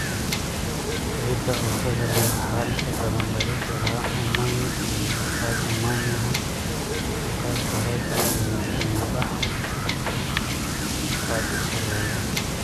Ciida cusbada leh waxaa inta badan laga helaa oomane iyo badh-oomanaha halkaas oo heerka uumi-baxu aad u sarreeyo.